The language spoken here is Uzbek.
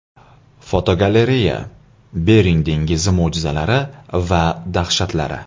Fotogalereya: Bering dengizi mo‘jizalari va dahshatlari.